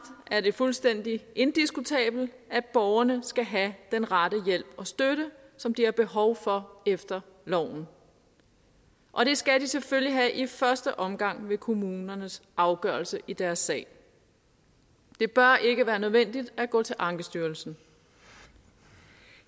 er det fuldstændig indiskutabelt at borgerne skal have den rette hjælp og støtte som de har behov for efter loven og det skal de selvfølgelig have i første omgang ved kommunernes afgørelse i deres sag det bør ikke være nødvendigt at gå til ankestyrelsen